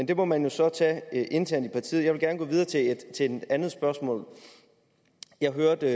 det må man jo så tage internt i partiet jeg vil gerne gå videre til et andet spørgsmål jeg hørte